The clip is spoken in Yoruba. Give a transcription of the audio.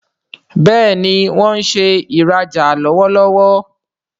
Béèni wón ṣe ìrajà lọwọlọwọ.